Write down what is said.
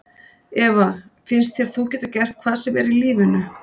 Eva: Finnst þér þú geta gert hvað sem er í lífinu?